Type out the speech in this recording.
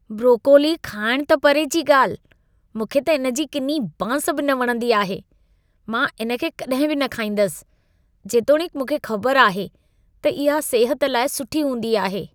Broccoli खाइण त परे जी ॻाल्हि, मूंखे त इन जी किनी बांस बि न वणंदी आहे। मां इन खे कड॒हिं बि न खाईंदसि जेतोणीकि मूंखे ख़बरु आहे त इहा सिहत लाइ सुठी हूंदी आहे।